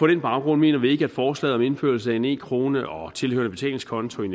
den baggrund mener vi ikke at forslaget om indførelse af en e krone og tilhørende betalingskonto